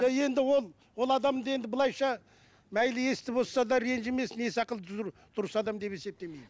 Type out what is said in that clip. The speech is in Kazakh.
енді ол ол адамды енді былайынша мәйлі естіп отырса да ренжімесін ес ақылы түзу дұрыс адам деп есептемеймін